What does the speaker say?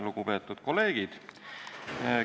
Lugupeetud kolleegid!